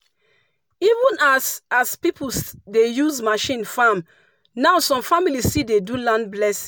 even as as people dey use machine farm now some families still dey do land blessing.